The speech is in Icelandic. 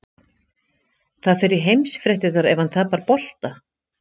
Það fer í heimsfréttirnar ef hann tapar bolta.